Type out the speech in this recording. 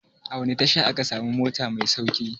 A wani tasha ake samun mota mai sauƙi?